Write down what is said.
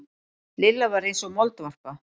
Lilla var eins og moldvarpa.